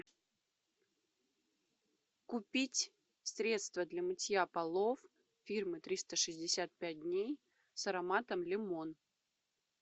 купить средство для мытья полов фирмы триста шестьдесят пять дней с ароматом лимон